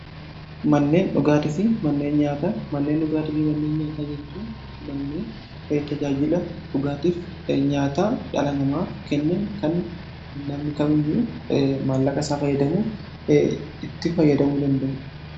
manneen dhugaatifii manneen nyaataa jechuu manneen tajaajila dhugaatiif nyaata dhalanamaaf kennan kan namni kamiyyuu maallaqa isaa fayyadamuu itti fayyadamuu danda'uuha